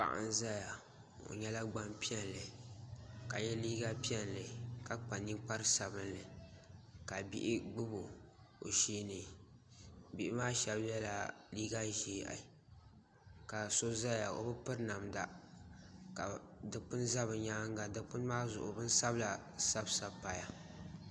Paɣa n ʒɛya o nyɛla gbanpiɛlli ka yɛ liiga piɛlli ka kpa ninkpari sabinli ka bihi gbubi o sheeni bihi maa shab yɛla liiga ʒiɛhi ka so ʒɛya o bi piri namda ka Dikpuni ʒɛ bi nyaanga dikpuni maa zuɣu bin sabila sabisabi paya